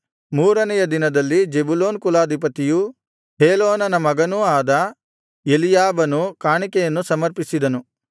ಮೂರನೆಯ ದಿನದಲ್ಲಿ ಜೆಬುಲೂನ್ ಕುಲಾಧಿಪತಿಯೂ ಹೇಲೋನನ ಮಗನೂ ಆದ ಎಲೀಯಾಬನು ಕಾಣಿಕೆಯನ್ನು ಸಮರ್ಪಿಸಿದನು